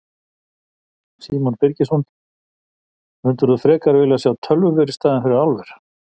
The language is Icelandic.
Símon Birgisson: Myndir þú frekar vilja sjá tölvuver í staðinn fyrir álver?